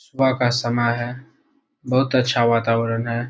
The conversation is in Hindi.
सुबह का समय है बहुत अच्छा वातावरण है।